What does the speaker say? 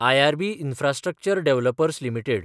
IRB infrastructure developers limited